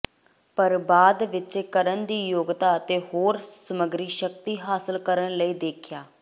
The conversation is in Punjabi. ਪਰ ਬਾਅਦ ਵਿਚ ਕਰਨ ਦੀ ਯੋਗਤਾ ਅਤੇ ਹੋਰ ਸਮੱਗਰੀ ਸ਼ਕਤੀ ਹਾਸਲ ਕਰਨ ਲਈ ਦੇਖਿਆ